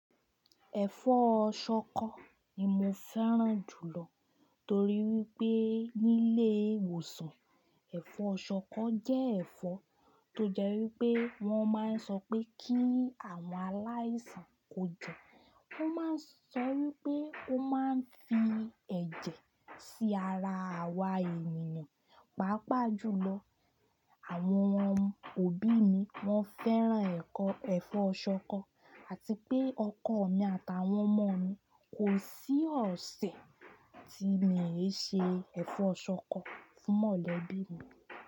Ẹ̀fọ́ ṣọkọ ni mo fẹ́ràn jù lọ torí wípé nílé ìwòsàn, ẹ̀fọ́ ṣọkọ jẹ́ ẹ̀fọ́ tó jẹ́ wípé wón máa ń sọ pé kí àwọn aláìsàn kó jẹ. Wón máa ń sọ wípé ó máa ń fi ẹ̀jẹ̀ sí ara àwa ènìyàn. Pàápàá jùlọ, àwọn ọmọ òbí mi wón fẹ́ràn ẹ̀fọ́, ẹ̀fọ́ ṣọkọ àti pé ọkọ̀ mi àtàwọn ọmọ mi kò sí ọ̀sẹ̀ tí mi ì ṣe ẹ̀fọ́ ṣọkọ fún mọ̀lẹ́bí mi.